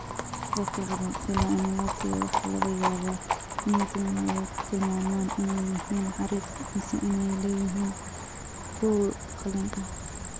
Dadka qaba pili annulati waxa laga yaabaa inay timahooda ku tilmaamaan inay yihiin xariif mise inay leeyihiin kuul qalin leh.